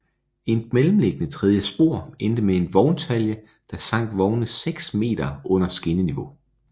Et mellemliggende tredje spor endte med en vogntalje der sank vogne 6 m under skinneniveau